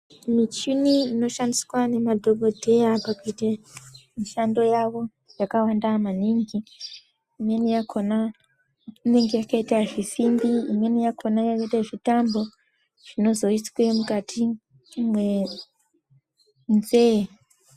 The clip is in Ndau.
Michini inoshandiswa nemadhokodheya pakuite mishando yavo yakawanda maningi, imweni yakhona inenge yakaita zvisimbi, imweni yakhona yakaita zvitambo zvinozoiswe mukati mwenzee.